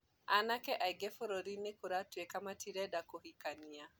anake aingĩ bũrũrinĩ kuratuĩka matirenda kũhikania